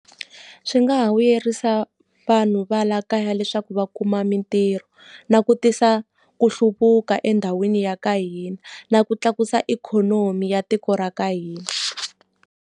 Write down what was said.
Swi nga ha vuyerisa vanhu va laha kaya leswaku va kuma mintirho. Na ku tisa ku hluvuka endhawini ya ka hina, na ku tlakusa ikhonomi ya tiko ra ka hina.